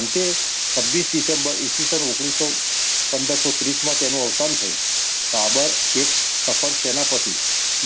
અંતે છવિસ ડિસેમ્બર ઈ. સ. પંદરસો ત્રીસ તેનું અવસાન થયું. બાબર એક સફળ સેનાપતિ,